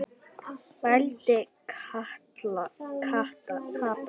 vældi Kata.